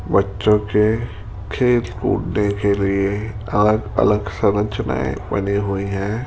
बच्चों के खेल कूदने के लिए अलग अलग संरचनाये बनी हुई हैं।